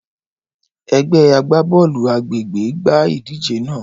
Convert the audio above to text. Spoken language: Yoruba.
Ẹgbẹ agbabọọlu agbegbe gba idije naa.